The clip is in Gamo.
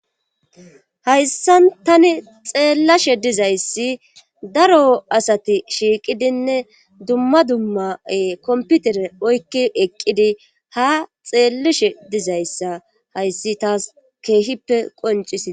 hayssan tani xeellashe dizayssi daro asati shiiqidinne dumma dummae komputere oykki eqqidi ha xeellashe dizayssa hayssi taas keehippe qoncisii